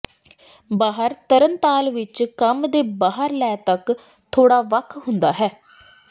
ਬਾਹਰ ਤਰਣਤਾਲ ਵਿੱਚ ਕੰਮ ਦੇ ਬਾਹਰ ਲੈ ਤੱਕ ਥੋੜ੍ਹਾ ਵੱਖ ਹੁੰਦਾ ਹੈ